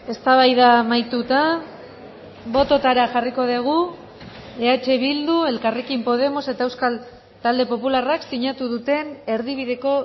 eztabaida amaituta bototara jarriko dugu eh bildu elkarrekin podemos eta euskal talde popularrak sinatu duten erdibideko